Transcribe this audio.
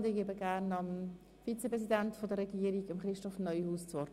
Ich gebe dem Vize-Regierungspräsidenten, Christoph Neuhaus, das Wort.